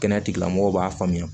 Kɛnɛya tigilamɔgɔw b'a faamuya